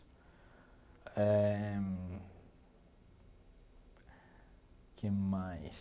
Eh o que mais?